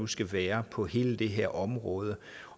skal være på hele det her område